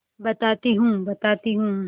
बताती हूँ बताती हूँ